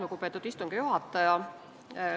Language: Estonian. Lugupeetud istungi juhataja!